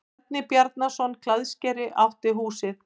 Bjarni Bjarnason klæðskeri átti húsið.